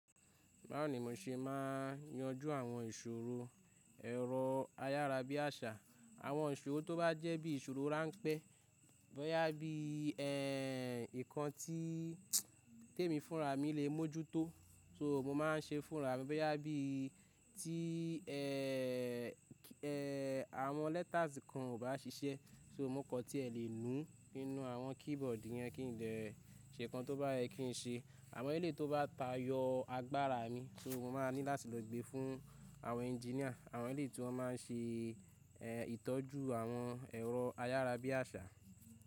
Báwo ni mò ṣe ma n yanjú àwọn ìṣòro ẹ̀rọ ayárabíàṣà. Àwọn ìṣòro tó bá jẹ́ bí ìṣòro ráńpẹ́, bóyá bí ẹ̀ nǹkan tí tẹ̀ mí fúnra mi lè mójútó, sọ̀, mo máa ń ṣe fúnra mi, bóyá bí tí ẹ̀. Ẹ̀ àwọn letters kan ò bá ṣiṣẹ́, so, mo kan tí ẹ lè nu, kí nù àwọn keyboard yẹn kí n dé ṣe nǹkan tó bá yẹ kí n ṣe. Àwọn èlé tó bá tayọ agbára mi, so mò ma n ní láti lọ gbé fún àwọn engineer, àwọn èlé tí wọ́n ma n ṣe èè ìtọ́jú àwọn ẹ̀rọ ayárabíàṣà.